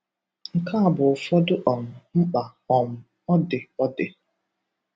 Nke a bụ ụfọdụ um mkpa um ọ dị ọ dị